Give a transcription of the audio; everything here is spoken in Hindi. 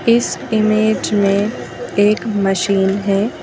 इस इमेज में एक मशीन है।